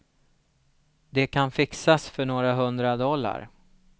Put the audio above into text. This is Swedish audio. Det kan fixas för några hundra dollar.